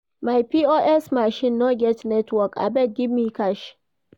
My POS machine no get network, abeg give me cash.